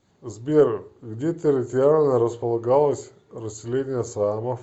сбер где территориально располагалось расселение саамов